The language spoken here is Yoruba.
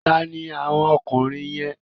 Ta ni àwọn ọkùnrin yẹn?